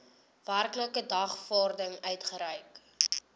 werklike dagvaarding uitgereik